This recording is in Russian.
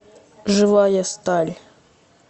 живая сталь